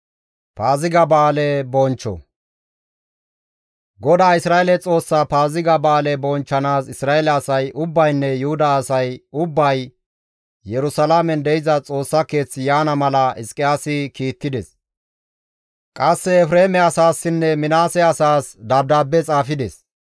GODAA Isra7eele Xoossaa Paaziga ba7aale bonchchanaas Isra7eele asay ubbaynne Yuhuda asay ubbay Yerusalaamen de7iza Xoossa Keeth yaana mala Hizqiyaasi kiittides; qasse Efreeme asaassinne Minaase asaas dabdaabbe xaafides.